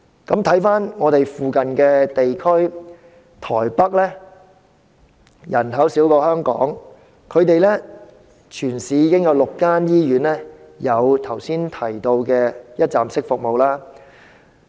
在鄰近地區例如台北，雖然當地人口少於香港，但全市已有6間醫院提供剛才所述的一站式服務。